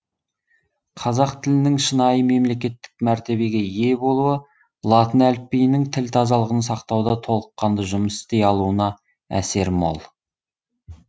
қазақ тілінің шынайы мемлекеттік мәртебеге ие болуы латын әліпбиінің тіл тазалығын сақтауда толыққанды жұмыс істей алуына әсер мол